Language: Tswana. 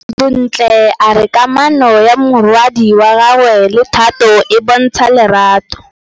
Bontle a re kamanô ya morwadi wa gagwe le Thato e bontsha lerato.